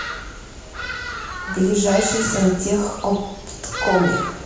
ближайший сантехопткоми